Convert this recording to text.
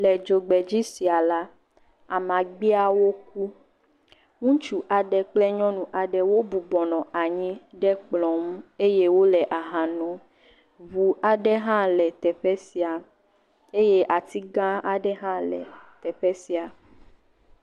Le dzogbedzi sia la, amagbeawo ku. Ŋutsu aɖe kple nyɔnu aɖe wo bɔbɔnɔ anyi ɖe kplɔ nu eye wole aha nom. Ŋu aɖe hã le teƒe sia eye atigã aɖe hã le teƒe sia.